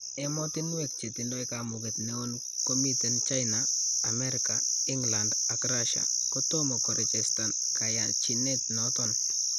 Emotinwek chetindo kamuget neon komiten China, Amerika, England, ak Russia ko tomo korechestan kayanchinet noton